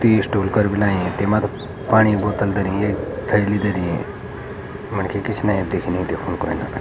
टी स्टोलकर भी लायीं तेमा पाणी बोतल धरीं यख थैली धरीं मनखी पिछने दिखणि दिख्णु ।